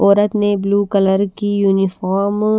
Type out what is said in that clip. औरत ने blue colour की यूनिफार्म --